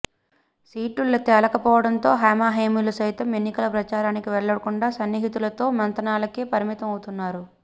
సీట్లు తేలకపోవడంతో హేమాహేమీలు సైతం ఎన్నికల ప్రచారానికి వెళ్లకుండా సన్నిహితులతో మంతనాలకే పరిమితమవుతున్నారు